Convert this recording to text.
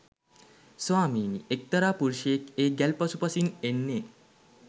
ස්වාමීනී එක්තරා පුරුෂයෙක් ඒ ගැල් පසුපසින් එන්නේ